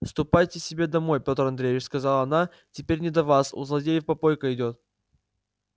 ступайте себе домой пёир андреич сказала она теперь не до вас у злодеев попойка идёт